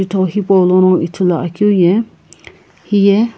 itho hepo lono ithulu akeu ye heye.